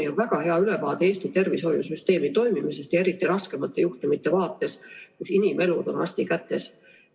Teil on väga hea ülevaade Eesti tervishoiusüsteemi toimimisest ja ka raskematest juhtumitest, kus inimelud on arsti kätes.